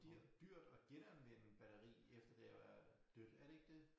Dyrt at genanvende batteri efter det jo er dødt er det ikke det